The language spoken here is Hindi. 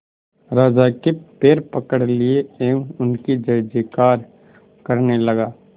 राजा के पैर पकड़ लिए एवं उनकी जय जयकार करने लगा